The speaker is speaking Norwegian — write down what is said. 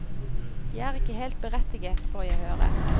De er ikke helt berettiget, får jeg høre.